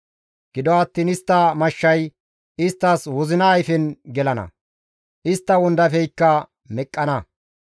Gido attiin istta mashshay isttas wozina ayfen gelana; istta wondafeykka meqqana.